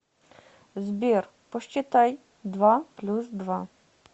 сбер посчитай два плюс два